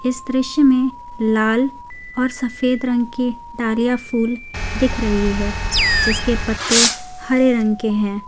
इस दृश्य में लाल और सफेद रंग के डारिया फुल दिख रही है जिसके पत्ते हरे रंग के हैं।